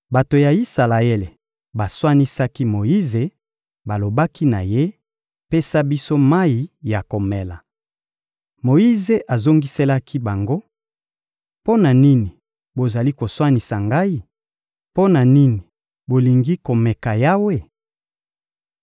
Bato ya Isalaele baswanisaki Moyize, balobaki na ye: — Pesa biso mayi ya komela! Moyize azongiselaki bango: — Mpo na nini bozali koswanisa ngai? Mpo na nini bolingi komeka Yawe?